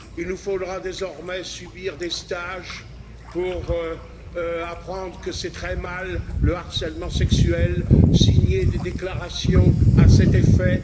il nous faudra désormais subir des stages pour apprendre que c'est très mal le harcèlement sexuel et signer des déclarations à cet effet